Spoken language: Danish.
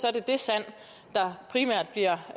er det det sand der primært bliver